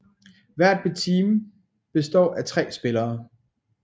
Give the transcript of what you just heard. Hvert team består af 3 spillere